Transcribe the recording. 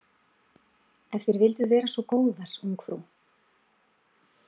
Ef þér vilduð vera svo góðar, ungfrú.